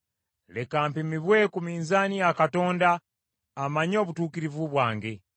leka mpimibwe ku minzaani ya Katonda amanye obutuukirivu bwange.